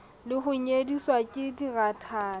le ho nyediswa ke dirathana